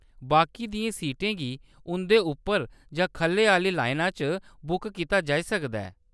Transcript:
बाकी दियें दस्सें सीटें गी उंʼदे उप्पर जां खʼल्लै आह्‌ली लाइना च बुक कीता जाई सकदा ऐ।